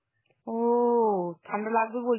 ও ঠান্ডা লাগবে বলছো